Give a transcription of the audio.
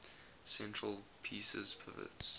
center pieces pivots